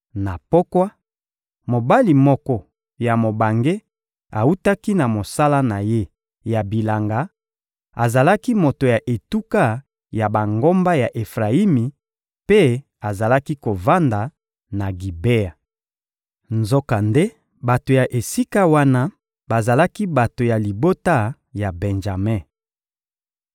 Na pokwa, mobali moko ya mobange awutaki na mosala na ye ya bilanga; azalaki moto ya etuka ya bangomba ya Efrayimi mpe azalaki kovanda na Gibea. Nzokande bato ya esika wana bazalaki bato ya libota ya Benjame.